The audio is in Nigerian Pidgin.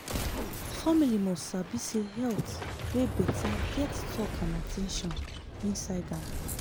family must sabi say health wey better get talk and at ten tion inside am.